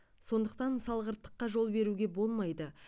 сондықтан салғырттыққа жол беруге болмайды